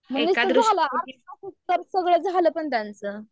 उत्तर सगळ्य झाले पण त्यांचं